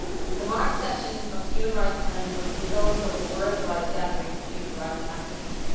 The March session of the Human Rights Council is also a worldwide gathering of human rights activists.